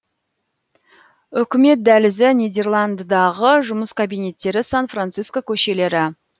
үкімет дәлізі нидерландыдағы жұмыс кабинеттері сан франциско көшелері